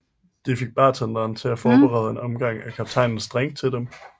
De fik bartenderen til at forberede en omgang af kaptajnens drink til dem